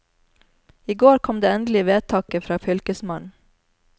I går kom det endelige vedtaket fra fylkesmannen.